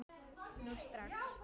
Nú strax!